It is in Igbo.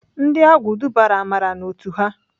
Ndị agwụ dubara Amara n'otu ha.